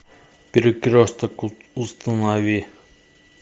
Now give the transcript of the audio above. перекресток установи